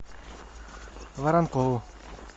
воронкову